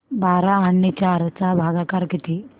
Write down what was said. बारा आणि चार चा भागाकर किती